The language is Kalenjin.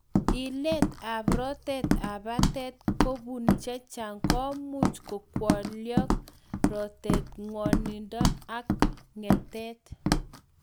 Illet ap rotet ap patet kopun chechang komuvh kokwolok rotet, ng'wonindo ak ng'etet